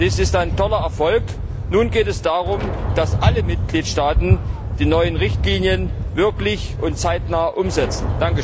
Dies ist ein toller Erfolg. Nun geht es darum, dass alle Mitgliedstaaten die neuen Richtlinien wirklich zeitnah umsetzen.